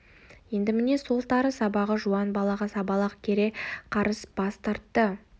енді міне сол тары сабағы жуан балағы сабалақ кере қарыс бас тартты